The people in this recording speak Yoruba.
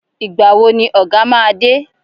Ìgbà wo ni Ọ̀gá máa dé!